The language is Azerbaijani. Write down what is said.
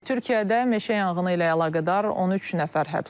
Türkiyədə meşə yanğını ilə əlaqədar 13 nəfər həbs olunub.